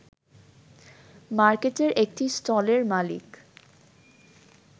মার্কেটের একটি স্টলের মালিক